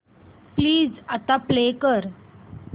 please आता play कर